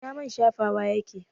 Ina mai na shafawa yake?